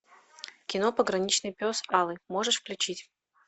кино пограничный пес алый можешь включить